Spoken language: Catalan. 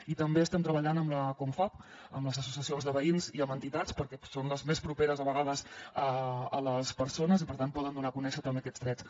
i també estem treballant amb la confavc amb les associacions de veïns i amb entitats perquè són les més properes a vegades a les persones i per tant poden donar a conèixer també aquests drets